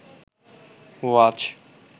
ওয়াজ